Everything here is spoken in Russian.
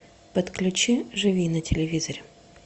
подключи живи на телевизоре